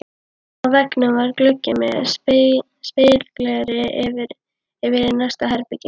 Á veggnum var gluggi með spegilgleri yfir í næsta herbergi.